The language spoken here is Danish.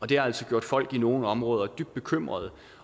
det har altså gjort folk i nogle områder dybt bekymrede